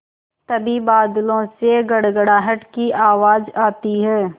तभी बादलों से गड़गड़ाहट की आवाज़ आती है